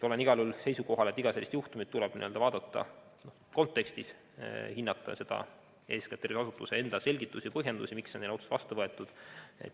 Olen igal juhul seisukohal, et iga sellist juhtumit tuleb vaadata kontekstis, hinnata eeskätt tervishoiuasutuse enda selgitusi ja põhjendusi, miks on selline otsus vastu võetud.